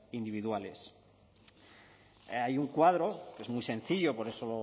individuales hay un cuadro que es muy sencillo por eso